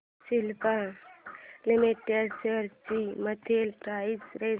Cipla limited shares ची monthly price range